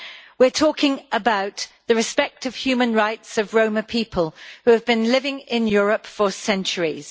We are talking about the respect of the human rights of Roma people who have been living in Europe for centuries.